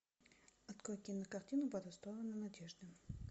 открой кинокартину по ту сторону надежды